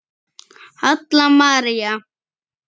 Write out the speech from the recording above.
Halla María.